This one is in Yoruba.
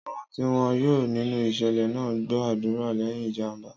Àwọn tí wọ́n yọ nínú ìṣẹ̀lẹ̀ náà gbọ́ àdúrà lẹ́yìn ìjàm̀bá.